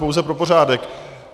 Pouze pro pořádek.